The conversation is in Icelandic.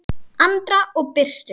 Andra og Birtu.